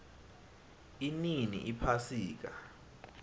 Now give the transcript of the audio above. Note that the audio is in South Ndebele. inini iphasika